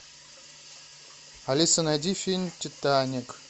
алиса найди фильм титаник